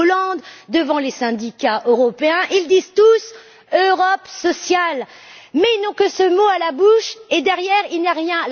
Hollande, devant les syndicats européens, ils disent tous Europe sociale, mais ils n'ont que ce mot à la bouche et derrière, il n'y a rien!